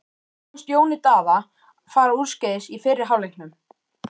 Hvað fannst Jóni Daða fara úrskeiðis í fyrri hálfleiknum?